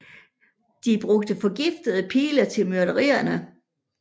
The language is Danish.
De brugte forgiftede pile til myrderierne